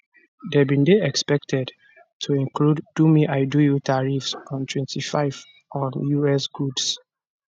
dem dey expected to include domeidoyou tariffs of 25 on us goods